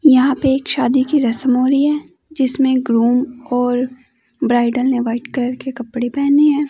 यहां पे एक शादी की रस्म हो रही है जिसमें ग्रुम और ब्राईड ने व्हाइट कलर के कपड़े पहने हैं।